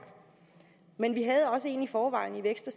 men vi havde også en i forvejen i vækst